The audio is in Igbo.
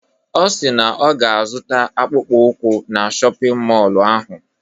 Ọ si na ọ ga-azụta akpụkpọ ụkwụ na shọpịn mọlụ ahụ.